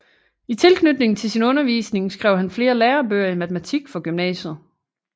I tilknytning til sin undervisning skrev han flere lærebøger i matematik for gymnasiet